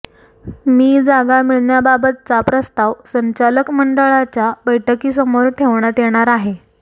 मी जागा मिळण्याबाबतचा प्रस्ताव संचालक मंडळाच्या बैठकीसमोर ठेवण्यात येणार आहे